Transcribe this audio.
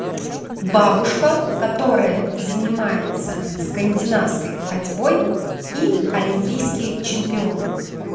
бабушка которая занимается скандинавской ходьбой и олимпийский чемпион